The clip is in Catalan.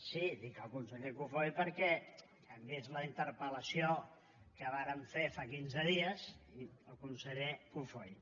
sí dic el conseller cofoi perquè hem vist la interpel·lació que varen fer fa quinze dies i el conseller cofoi